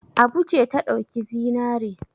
Abu ce ta ɗauki zinare.